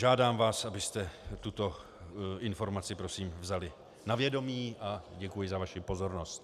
Žádám vás, abyste tuto informaci, prosím vzali na vědomí, a děkuji za vaši pozornost.